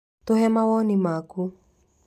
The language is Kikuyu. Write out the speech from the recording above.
Tũhe mawoni maku